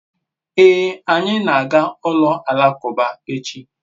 ee, anyi na-aga ulo alakuba echi